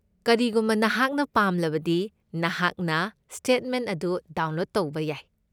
ꯀꯔꯤꯒꯨꯝꯕ ꯅꯍꯥꯛꯅ ꯄꯥꯝꯂꯕꯗꯤ, ꯅꯍꯥꯛꯅ ꯁ꯭ꯇꯦꯠꯃꯦꯟꯠ ꯑꯗꯨ ꯗꯥꯎꯟꯂꯣꯗ ꯇꯧꯕ ꯌꯥꯏ꯫